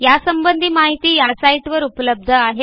यासंबंधी माहिती या साईटवर उपलब्ध आहे